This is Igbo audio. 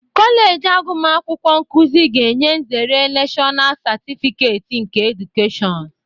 Kọleji agumakwukwo nkụzị ga-enye nzere Nashọnal Sertifiket nke Edukeshọn.